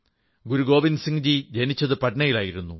ഗുരു ഗോവിന്ദസിംഗ്ജി ജനിച്ചത് പട്നയിലായിരുന്നു